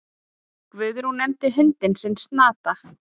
Guðrún nefndi hundinn sinn Snata.